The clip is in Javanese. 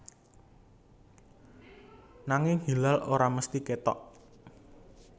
Nanging hilal ora mesthi kétok